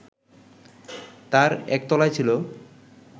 তার একতলায় ছিল